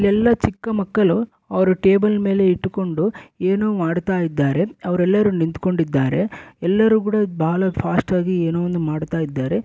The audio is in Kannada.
ಇಲ್ಲೆಲ್ಲ ಚಿಕ್ಕ ಮಕ್ಕಳು ಅವರು ಟೇಬಲ್ ಮೇಲೆ ಇಟ್ಟುಕೊಂಡು ಏನೋ ಮಾಡ್ತಾ ಇದ್ದಾರೆ ಅವರೆಲ್ಲರು ನಿಂತ್ಕೊಂಡಿದ್ದಾರೆ ಎಲ್ಲರೂ ಕೂಡ ಬಾಳ ಫಾಸ್ಟ್ ಆಗಿ ಏನೊ ಒಂದ್ ಮಾಡ್ತಾ ಇದ್ದಾರೆ.